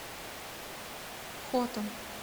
хотан